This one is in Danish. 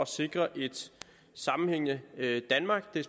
sikre et sammenhængende danmark det